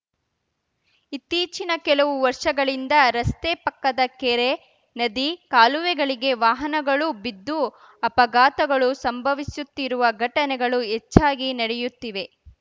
ಇತ್ತೀಚಿನ ಕೆಲವು ವರ್ಷಗಳಿಂದ ರಸ್ತೆ ಪಕ್ಕದ ಕೆರೆ ನದಿ ಕಾಲುವೆಗಳಿಗೆ ವಾಹನಗಳು ಬಿದ್ದು ಅಪಘಾತಗಳು ಸಂಭವಿಸುತ್ತಿರುವ ಘಟನೆಗಳು ಹೆಚ್ಚಾಗಿ ನಡೆಯುತ್ತಿವೆ